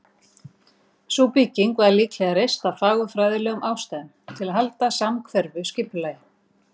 Sú bygging var líklega reist af fagurfræðilegum ástæðum, til að halda samhverfu skipulagi.